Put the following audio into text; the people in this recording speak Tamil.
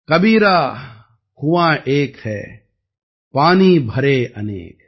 கபீரா குவான் ஏக் ஹை பானி பரே அநேக்